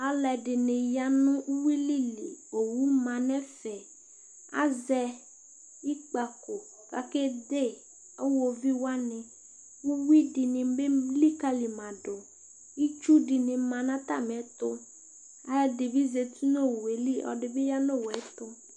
aloɛdini ya no uwili li owu ma n'ɛfɛ azɛ ikpako k'ake de iwoviu wani uwi di ni bi elikali ma do itsu dini ma n'atamiɛto aloɛdi bi zati n'owue li ɔloɛdi bi ya n'owuɛto